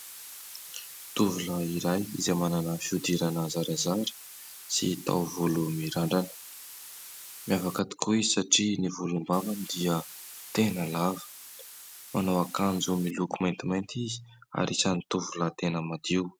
Tovolahy iray izay manana fihodirana zarazara sy taovolo mirandrana. Miavaka tokoa izy satria ny volom-bavany dia tena lava ; manao akanjo miloko maintimainty izy ary isan'ny tovolahy tena madio.